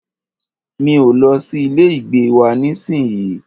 Mi o lọ sí ilé ìgbé wa nísìyí.